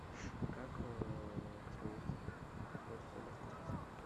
как космонавты ходят в туалет в космосе